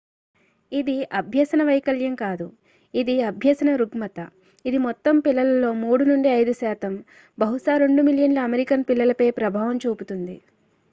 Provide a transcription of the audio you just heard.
"ఇది అభ్యసన వైకల్యం కాదు ఇది అభ్యసన రుగ్మత; ఇది "మొత్తం పిల్లలలో 3 నుండి 5 శాతం బహుశా 2 మిలియన్ల అమెరికన్ పిల్లలపై ప్రభావం చూపుతుంది"".